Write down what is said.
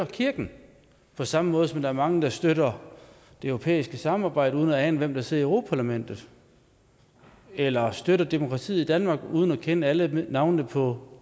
kirken på samme måde som der er mange der støtter det europæiske samarbejde uden at ane hvem der sidder i europa parlamentet eller støtter demokratiet i danmark uden at kende alle navnene på